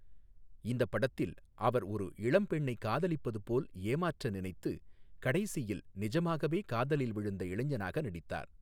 இந்தப் படத்தில் அவர் ஒரு இளம் பெண்ணைக் காதலிப்பது போல் ஏமாற்ற நினைத்து, கடைசியில் நிஜமாகவே காதலில் விழுந்த இளைஞனாக நடித்தார்.